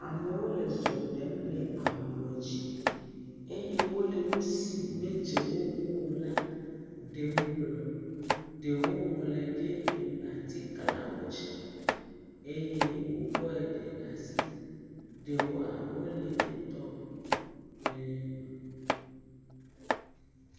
Amowo le zɔ ɖem le ablɔ dzi, eye wole nusi me dze wo ŋuo la ɖem gblɔ, ɖewo ŋlɔe ɖe atikla wo dzi, eye wo kɔe ɖe asi, ɖewoa, wole etɔ̃ eerrm.